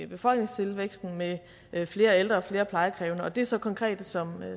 befolkningstilvæksten med flere ældre og flere plejekrævende og det er så konkrete som